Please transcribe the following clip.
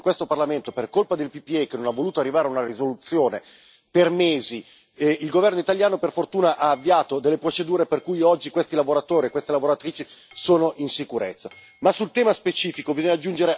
Mentre noi siamo stati a discutere in questo Parlamento, per colpa del PPE che non ha voluto arrivare a una risoluzione, per mesi, il governo italiano per fortuna ha avviato delle procedure per cui oggi questi lavoratori e queste lavoratrici sono in sicurezza.